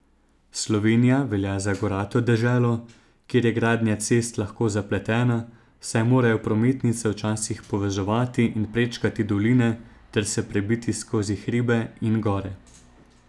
Slovenija velja za gorato deželo, kjer je gradnja cest lahko zapletena, saj morajo prometnice včasih povezovati in prečkati doline ter se prebiti skozi hribe in gore.